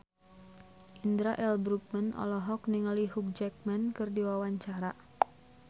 Indra L. Bruggman olohok ningali Hugh Jackman keur diwawancara